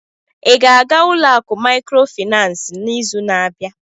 Ị ga-aga ụlọ akụ Maịkrofịnansị n'izu na-abịa?